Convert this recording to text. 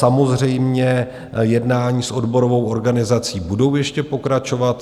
Samozřejmě, jednání s odborovou organizací budou ještě pokračovat.